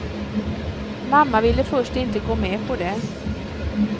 Mamma ville först inte gå med på det.